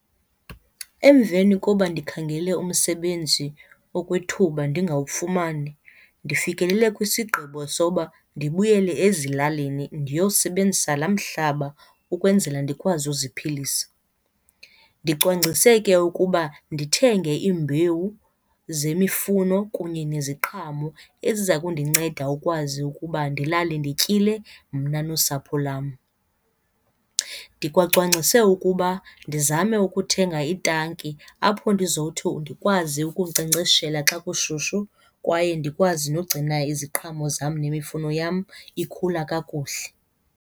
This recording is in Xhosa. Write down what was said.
Emveni koba ndikhangele umsebenzi okwethuba ndingawufumani, ndifikelele kwisigqibo sokuba ndibuyele ezilalini ndiyosebenzisa la mhlaba ukwenzela ndikwazi uziphilisa. Ndicwangcise ke ukuba ndithenge iimbewu zemifuno kunye neziqhamo eziza kundinceda ukwazi ukuba ndilale ndityile mna nosapho lwam. Ndikwacwangcise ukuba ndizame ukuthenga itanki apho ndizothi ndikwazi ukunkcenkceshela xa kushushu kwaye ndikwazi nogcina iziqhamo zam nemifuno yam ikhula kakuhle.